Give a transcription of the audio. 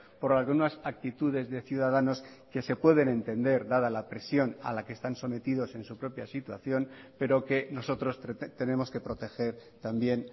por algunas actitudes de ciudadanos que se pueden entender dada la presión a la que están sometidos en su propia situación pero que nosotros tenemos que proteger también